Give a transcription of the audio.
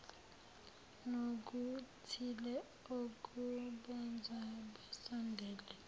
nokuthile okubenza basondelane